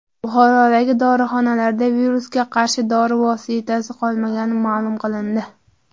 Buxorodagi dorixonalarda virusga qarshi dori vositasi qolmagani ma’lum qilindi.